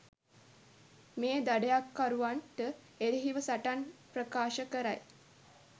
මේ දඩයක්කරුවන්ට එරෙහිව සටන් ප්‍රකාශ කරයි.